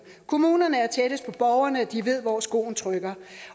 kommunerne er tættest på borgerne og de ved hvor skoen trykker